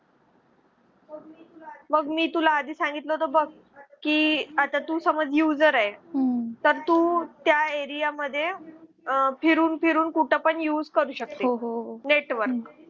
बघ मी तुला आधी सांगितलं होतं बघ की आता तू समज user आहे तर तू त्या Area मध्ये फिरून फिरून कुठं पण use करू शकते network